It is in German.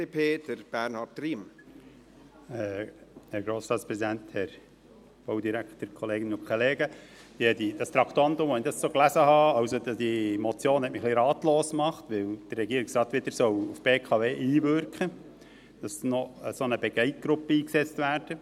Die Motion machte mich etwas ratlos, weil der Regierungsrat wieder auf die BKW einwirken soll, damit noch eine Begleitgruppe eingesetzt wird.